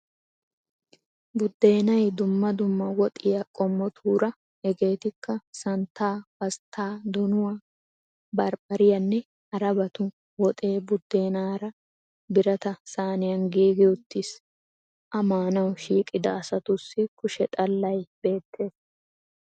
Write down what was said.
Buddeenay dumma dumma woxiyaa qommotuura hegeetikka santtaa, pasttaa, donuwaa, barbbariyanne harabatu woxee buddeenara birata saaniyan giigi uttis. a maanawu shiiqida asatussi kushshe xallay beettees.